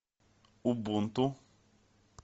убунту